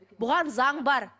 бұған заң бар